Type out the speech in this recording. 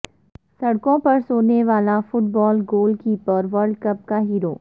سڑکوں پر سونے والا football goal keeper world cup کا ہیرو